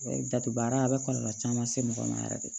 Datugu baara a bɛ kɔlɔlɔ caman se mɔgɔ ma yɛrɛ de